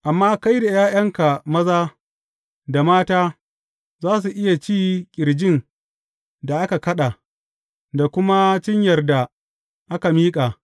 Amma kai da ’ya’yanka maza da mata za su iya ci ƙirjin da aka kaɗa, da kuma cinyar da aka miƙa.